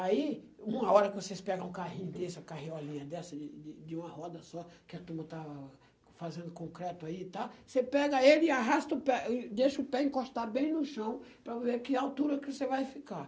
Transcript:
Aí, uma hora que vocês pegam um carrinho desse, uma carriolinha dessa, de de uma roda só, que a turma está fazendo concreto aí e tal, você pega ele e arrasta o pé, e deixa o pé encostar bem no chão para ver que altura que você vai ficar.